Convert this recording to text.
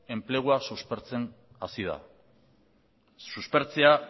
enplegua suspertzen hasi da suspertzea